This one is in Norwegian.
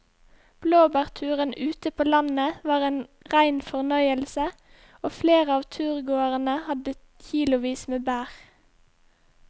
Blåbærturen ute på landet var en rein fornøyelse og flere av turgåerene hadde kilosvis med bær.